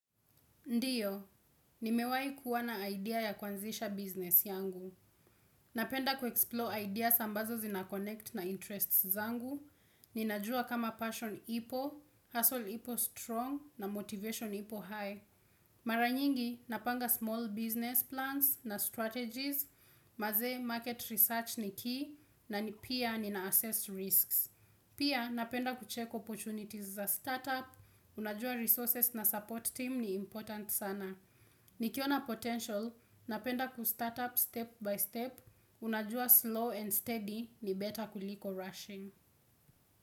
Ndiyo, nimewai kuwa na idea ya kuanzisha business yangu. Napenda kuexplore ideas ambazo zinaconnect na interests zangu. Ninajua kama passion ipo, hustle ipo strong na motivation ipo high. Mara nyingi, napanga small business plans na strategies, mazee market research ni key, na pia ninaassess risks. Pia, napenda kucheck opportunities za startup, unajua resources na support team ni important sana. Nikiona potential, napenda kustart up step by step, unajua slow and steady ni better kuliko rushing.